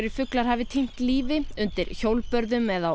fuglar hafi týnt lífi undir hjólbörðum eða á